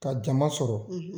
Ka jama sɔrɔ,